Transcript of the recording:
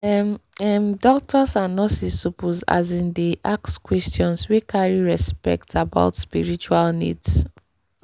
ehh ehm doctors and nurses suppose asin dey ask questions wey carry respect about spiritual needs.